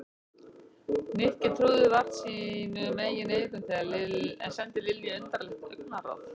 Nikki trúði vart sínum eigin eyrum en sendi Lilju undarlegt augnaráð.